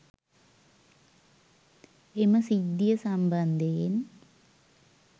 එම සිද්ධිය සම්බන්ධයෙන්